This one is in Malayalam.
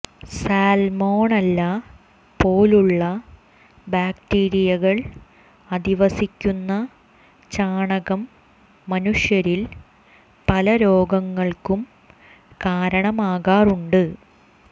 സാൽമോണല്ല പോലുള്ള ബാക്ടീരിയകൾ അധിവസിക്കുന്ന ചാണകം മനുഷ്യരിൽ പല രോഗങ്ങൾക്കും കാരണമാകാറുണ്ട്